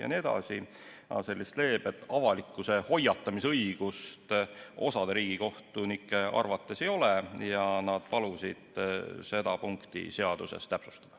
Aga sellist leebet avalikkuse hoiatamise õigust osa riigikohtunike arvates inspektsioonil ei ole ja nad palusid seda punkti seaduses täpsustada.